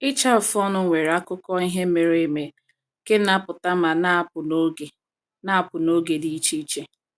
Ịcha afụ ọnụ nwere akụkọ ihe mere eme nke na-apụta ma na-apụ n’oge na-apụ n’oge dị iche iche.